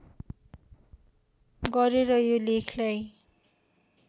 गरेर यो लेखलाई